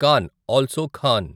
can also Khan